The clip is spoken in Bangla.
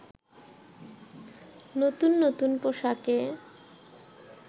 নতুন নতুন পোশাকে